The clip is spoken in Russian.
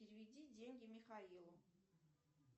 переведи деньги михаилу